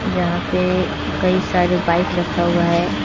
यहां पे कई सारे बाइक रखा हुआ है।